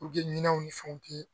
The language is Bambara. ɲinɛw ni fɛn .